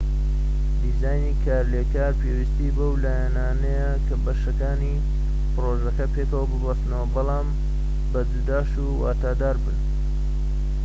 دیزانی کارلێکار پێویستی بەو لایەنانەیە کە بەشەکانی پڕۆژەکە پێکەوە ببەستنەوە بەڵام بە جوداش واتادار بن